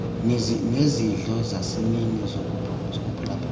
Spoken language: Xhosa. nezidlo zasemini zokuphulaphula